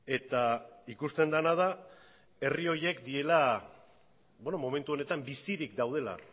eta ikusten dena da herri horiek direla momentu honetan bizirik daudela